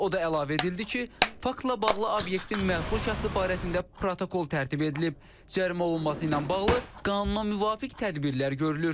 O da əlavə edildi ki, faktla bağlı obyektin məsul şəxsi barəsində protokol tərtib edilib, cərimə olunması ilə bağlı qanuna müvafiq tədbirlər görülür.